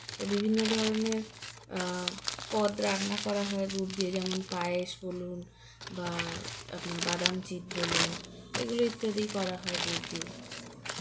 তো বিভিন্ন ধরনের আ পদ রান্না করা হয় গুড় দিয়ে যেমন পায়েস বলুন বা আপনার বাদামচিট বলুন এগুলো ইত্যাদি করা হয় গুড় দিয়ে